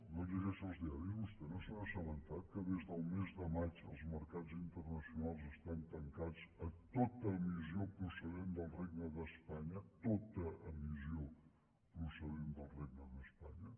no llegeix els diaris vostè no se n’ha assabentat que des del mes de maig els mercats internacionals estan tancats a tota emissió procedent del regne d’espanya tota emissió procedent del regne d’espanya